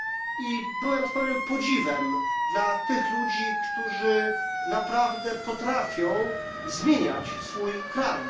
I byłem pełen podziwu dla tych ludzi, którzy naprawdę potrafią zmieniać swój kraj.